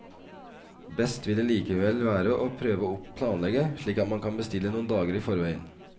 Best vil det likevel være å prøve å planlegge slik at man kan bestille noen dager i forveien.